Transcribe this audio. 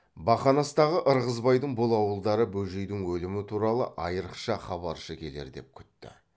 бақанастағы ырғызбайдың бұл ауылдары бөжейдің өлімі туралы айрықша хабаршы келер деп күтті